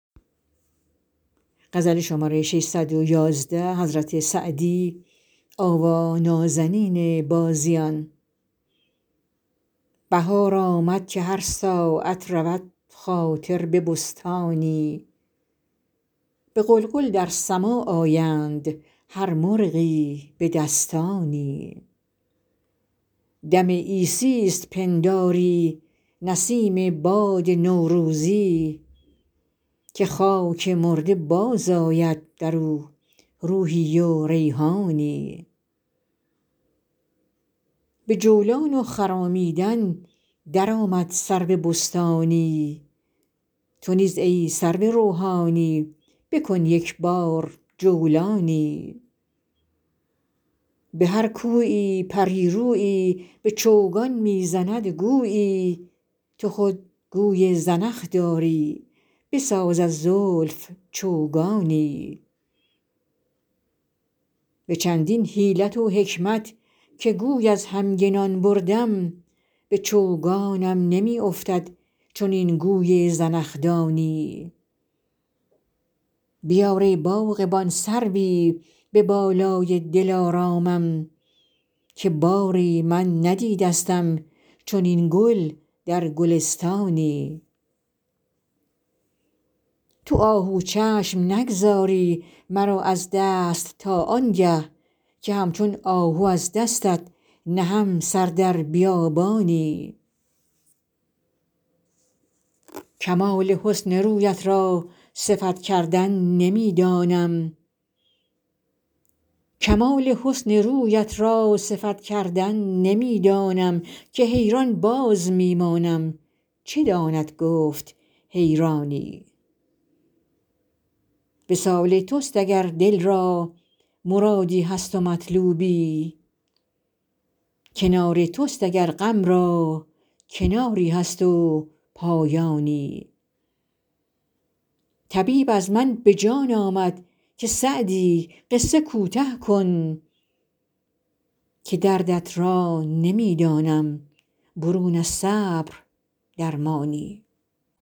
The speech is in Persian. بهار آمد که هر ساعت رود خاطر به بستانی به غلغل در سماع آیند هر مرغی به دستانی دم عیسیست پنداری نسیم باد نوروزی که خاک مرده باز آید در او روحی و ریحانی به جولان و خرامیدن در آمد سرو بستانی تو نیز ای سرو روحانی بکن یک بار جولانی به هر کویی پری رویی به چوگان می زند گویی تو خود گوی زنخ داری بساز از زلف چوگانی به چندین حیلت و حکمت که گوی از همگنان بردم به چوگانم نمی افتد چنین گوی زنخدانی بیار ای باغبان سروی به بالای دلارامم که باری من ندیدستم چنین گل در گلستانی تو آهو چشم نگذاری مرا از دست تا آن گه که همچون آهو از دستت نهم سر در بیابانی کمال حسن رویت را صفت کردن نمی دانم که حیران باز می مانم چه داند گفت حیرانی وصال توست اگر دل را مرادی هست و مطلوبی کنار توست اگر غم را کناری هست و پایانی طبیب از من به جان آمد که سعدی قصه کوته کن که دردت را نمی دانم برون از صبر درمانی